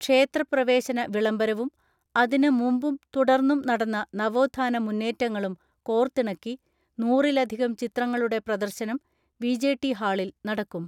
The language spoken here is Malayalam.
ക്ഷേത്രപ്രവേ ശന വിളംബരവും അതിന് മുമ്പും തുടർന്നും നടന്ന നവോത്ഥാന മുന്നേറ്റങ്ങളും കോർത്തിണക്കി നൂറിലധികം ചിത്രങ്ങളുടെ പ്രദർശനം വി.ജെ.ടി ഹാളിൽ നടക്കും.